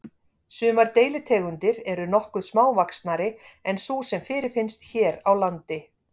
Sumar deilitegundir eru nokkuð smávaxnari en sú sem fyrirfinnst hér á landi.